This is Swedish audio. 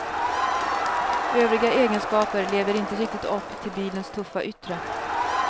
Övriga egenskaper lever inte riktigt upp till bilens tuffa yttre.